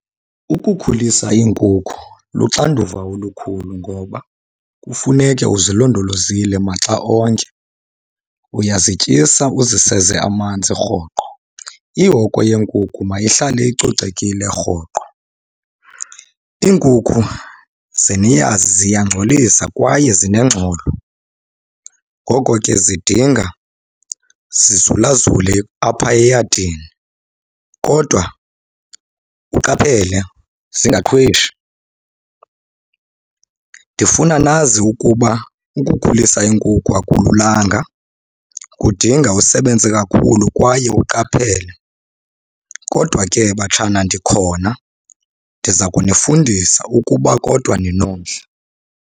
Ukukhulisa iinkukhu luxanduva olukhulu ngoba kufuneke uzilondolozile maxa onke. Uyazityisa uziseze amanzi rhoqo. Ihoko yeenkukhu mayihlale icocekile rhoqo. Iinkukhu ze niyazi ziyangcolisa kwaye zinengxolo, ngoko ke zidinga zizulazule apha eyadini kodwa uqaphele zingaqhweshi. Ndifuna nazi ukuba ukukhulisa iinkukhu akululanga kudinga usebenze kakhulu kwaye uqaphele. Kodwa ke batshana ndikhona ndiza kunifundisa, ukuba kodwa ninomdla.